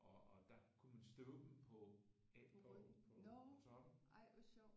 Og der kunne man støve dem på af på toppen